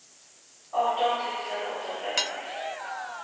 arton tusen åttahundraett